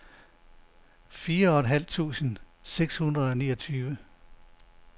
fireoghalvtreds tusind seks hundrede og niogtyve